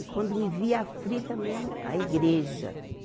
E quando me via aflita mesmo, a igreja.